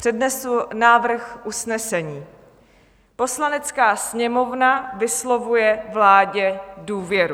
Přednesu návrh usnesení: "Poslanecká sněmovna vyslovuje vládě důvěru."